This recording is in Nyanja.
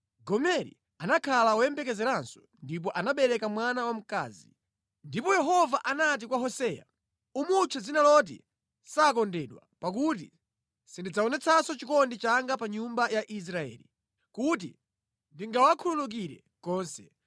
Gomeri anakhala woyembekezeranso ndipo anabereka mwana wamkazi. Ndipo Yehova anati kwa Hoseya, “Umutche dzina loti ‘Sakondedwa’ pakuti sindidzaonetsanso chikondi changa pa nyumba ya Israeli, kuti ndingawakhululukire konse.